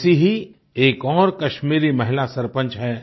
ऐसी ही एक और कश्मीरी महिला सरपंच हैं